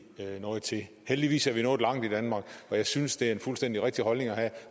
noget til heldigvis er vi nået langt i danmark og jeg synes det er en fuldstændig rigtig holdning at have